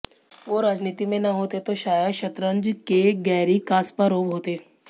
वो राजनीति में न होते तो शायद शतरंज के गैरी कास्पारोव होते